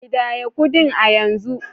Kidaya kudin ku a yanzu